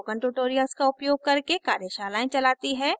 spoken tutorials का उपयोग करके कार्यशालाएं चलाती है